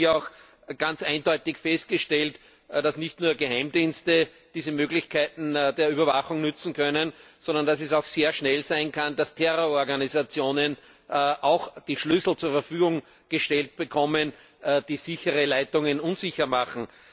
Es wurde hier auch ganz eindeutig festgestellt, dass nicht nur Geheimdienste diese Möglichkeiten der Überwachung nutzen können, sondern dass es auch sehr schnell sein kann, dass auch Terrororganisationen die Schlüssel zur Verfügung gestellt bekommen, die sichere Leitungen unsicher machen.